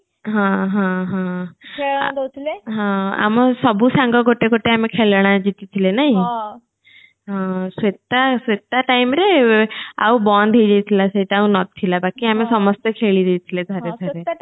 ହଁ ହଁ ହଁ ଆମ ସାଙ୍ଗ ସବୁ ଗୋଟେ ଆମେ ଖେଳଣା ଜିତିଝିଲେ ନାଇଁ ସେଟା ସେଟ time ରେ ଆଉ ବନ୍ଦ ହେଇଯାଇଥିଲା ସେଇଟା ଆଉ ନଥିଲା ବାକି ଆମେ ସମସ୍ତେ ଖେଳି ଦେଇଥିଲେ ଥରେ ଥରେ